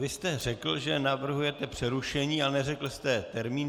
Vy jste řekl, že navrhujete přerušení, ale neřekl jste termín.